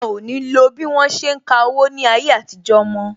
A o ní lo bí wọ́n ṣe ń ka owó ní ayé àtijó mo